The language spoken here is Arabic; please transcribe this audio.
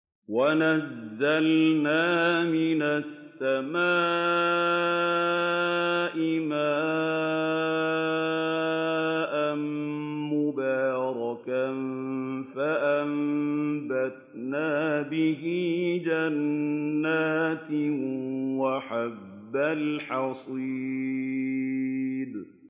وَنَزَّلْنَا مِنَ السَّمَاءِ مَاءً مُّبَارَكًا فَأَنبَتْنَا بِهِ جَنَّاتٍ وَحَبَّ الْحَصِيدِ